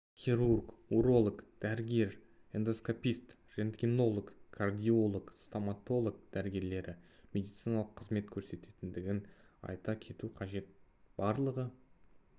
хирург уролог дәрігері эндоскопист рентгенолог кардиолог стоматолог дәрігерлері медициналық қызмет көрсететіндігін айта кету қажет барлығы